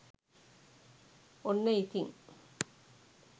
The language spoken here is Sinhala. ඔන්න ඉතිං